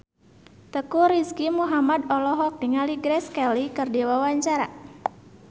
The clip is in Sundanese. Teuku Rizky Muhammad olohok ningali Grace Kelly keur diwawancara